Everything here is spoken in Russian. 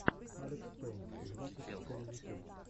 алекспэйн двадцать четыре ютюб